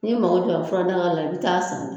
N'i mago jɔra furadaga la i bɛ taa san